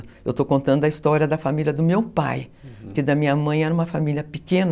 Eu estou contando a história da família do meu pai, uhum, que da minha mãe era uma família pequena,